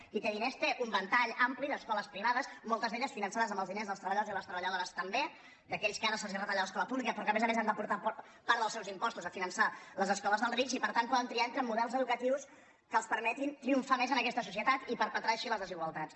qui té diners té un ventall ampli d’escoles privades moltes d’elles finançades amb els diners dels treballadors i les treballadores també d’aquells als quals ara se’ls retalla l’escola pública però que a més a més han de portar part dels seus impostos a finançar les escoles dels rics i per tant poden triar entre models educatius que els permetin triomfar més en aquesta societat i perpetrar així les desigualtats